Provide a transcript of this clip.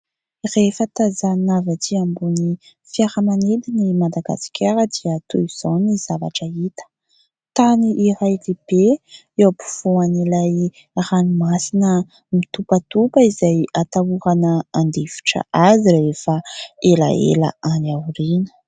rehefa tazaonavy atỳ ambony fiaramanedy ny madagaskara dia toy izao ny zavatra hita tany iray lehibe eo ampifoan' ilay ranomasina mitompatopa izay atahorana andifitra azy rehefa elahela any aoriana